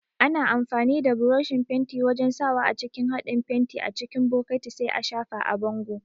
Ana amfani da buroshin fenti wajan sawa a cikin haɗin fenti a cikin bokati sai a shafa a bango